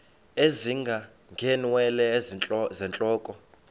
ezinga ngeenwele zentloko